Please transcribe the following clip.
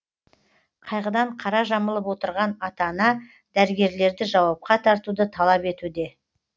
қайғыдан қара жамылып отырған ата ана дәрігерлерді жауапқа тартуды талап етуде